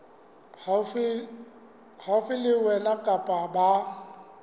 haufi le wena kapa ba